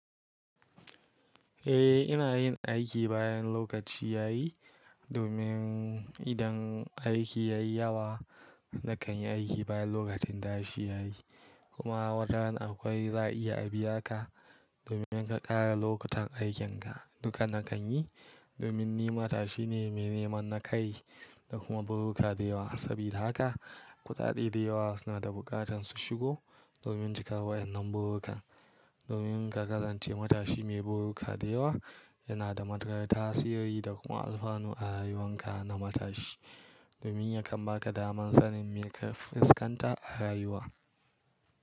Eh, ina yin aiki bayan lokaci yayi domin idan aiki yayi yawa nakan yi aiki bayan lokacin ta shi yayi. Kuma wataran akwai za i iya a biya ka domin inka ƙara lokutan aikin ka. Duka na kan yi domin ni matashi ne mai neman nakayi da kuma buruka da yawa. Sabida haka kuɗaɗe da yawa suna da bukatan su shigo domin cika wa'yannan burukan. Domin ka kasance matashi mai buruka da yawa yana da matuƙar tasiri da kuma alfanu a rayuwan ka na matashi. Domin yakan baka daman sanin me ka fuskanta a rayuwa.